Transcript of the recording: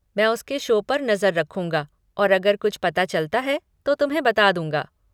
मैं उसके शो पर नजर रखूँगा और अगर कुछ पता चलता है तो तुम्हें बता दूँगा।